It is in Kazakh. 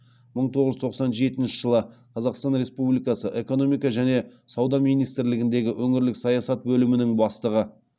мың тоғыз жүз тоқсан жетінші жылы қазақстан республикасы экономика және сауда министрлігіндегі өңірлік саясат бөлімінің бастығы